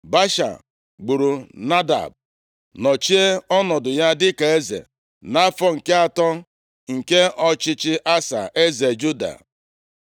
Baasha gburu Nadab, nọchie ọnọdụ ya dịka eze, nʼafọ nke atọ nke ọchịchị Asa, eze Juda.